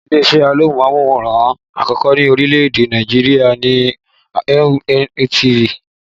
Ilé-isẹ́ amóhùnmáwòrán àkọ́kọ́ ní orílè-èdè Nàìjirià ni WNTV